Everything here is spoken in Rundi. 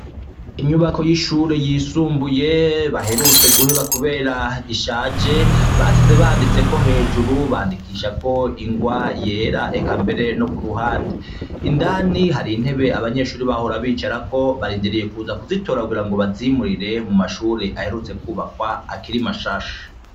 Inyubako y'ishure yisumbuye baherutse guheba, kubera ishaje, basize banditseko hejuru, bandikishako ingwa yera eka mbere no ku ruhande, indani hari intebe abanyeshuri bahora bicarako, barindiriye kuza kuzitora kugira ngo bazimurire mu mashure aherutse kubakwa akiri mashasha.